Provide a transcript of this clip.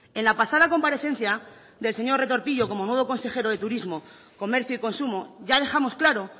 en la pasada comparecencia del señor retortillo como nuevo consejero de turismo comercio y consumo ya dejamos claro